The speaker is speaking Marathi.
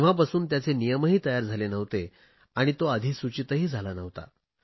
तेव्हापासून त्याचे नियमही तयार झाले नव्हते आणि तो अधिसूचितही झाला नव्हता